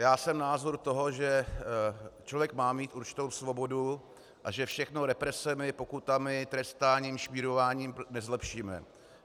Já jsem toho názoru, že člověk má mít určitou svobodu a že všechno represemi, pokutami, trestáním, šmírováním nezlepšíme.